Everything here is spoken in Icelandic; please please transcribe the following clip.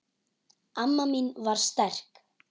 Amma mín var sterk.